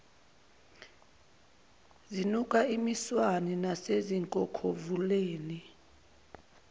zinuka imiswane nasezinkokhovuleni